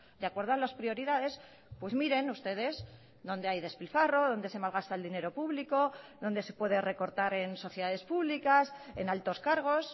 de acuerdo a las prioridades pues miren ustedes dónde hay despilfarro dónde se malgasta el dinero público dónde se puede recortar en sociedades públicas en altos cargos